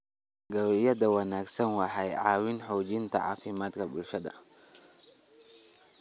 Dalagyada wanaagsani waxay caawiyaan xoojinta caafimaadka bulshada.